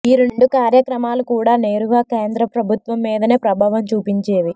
ఈ రెండు కార్యక్రమాలు కూడా నేరుగా కేంద్రప్రభుత్వం మీదనే ప్రభావం చూపించేవి